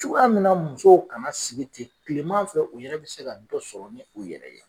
Cogoya min na musow kana sigi ten kilema fɛ u yɛrɛ be se ka dɔ sɔrɔ ni u yɛrɛ ye